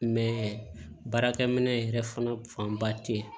baarakɛminɛn yɛrɛ fana fanba tɛ yen